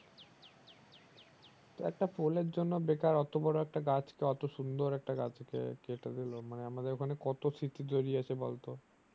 তো একটা পোলের জন্য বেকার অত বড়ো একটা গাছকে অত সুন্দর গাছকে কেটে দিলো মানে আমাদের ওখানে কত স্মৃতি জড়িয়ে আছে বলতো